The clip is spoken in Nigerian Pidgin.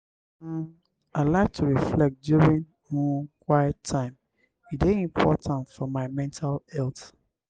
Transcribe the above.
um i like to reflect during um quiet time; e dey important for my mental health.